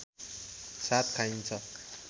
साथ खाइन्छ